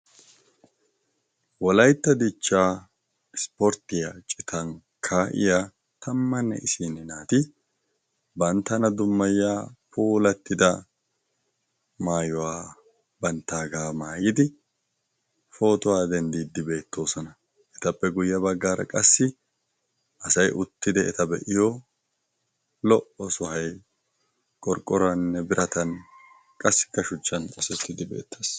Wolaytta dichchaa ispporttiya citan kaa'iya tammanne isinn naati banttana dummayya polattida maayuwaa banttaagaa maayidi pootuwaa denddiiddibeettoosona etappe guyye baggaara qassi asay uttidi eta be'iyo lo"o sohay qorqqoranne biratan qassi ka shuchchan xoosettiddi beettaas.